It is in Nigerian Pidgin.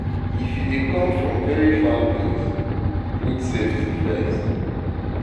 If you dey come from very far place, put safety first